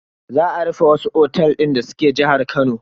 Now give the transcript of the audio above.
Za a rufe wasu otels din da suke jihar Kano.